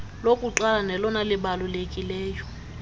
lokuqalo nelona libalulekileyo